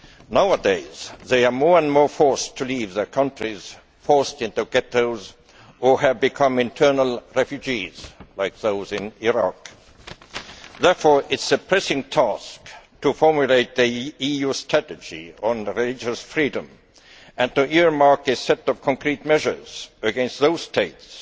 Nowadays, they increasingly are forced to leave their countries, are forced into ghettos, or have become internal refugees like those in Iraq. Therefore, it is a pressing task to formulate the EU strategy on religious freedom and to earmark a set of concrete measures against those states